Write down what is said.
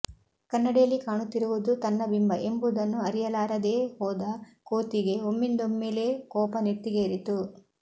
ಕನ್ನಡಿಯಲ್ಲಿ ಕಾಣುತ್ತಿರುವುದು ತನ್ನ ಬಿಂಬ ಎಂಬುದನ್ನು ಅರಿಯಲಾರದೇ ಹೋದ ಕೋತಿಗೆ ಒಮ್ಮಿಂದೊಮ್ಮೆಲೇ ಕೋಪ ನೆತ್ತಿಗೇರಿತು